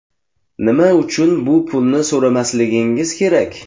Nima uchun bu pulni so‘ramasligimiz kerak?